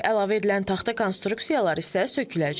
Əlavə edilən taxta konstruksiyalar isə söküləcək.